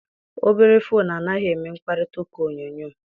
Obere foonu anaghị eme mkparịtaụka onyonyo.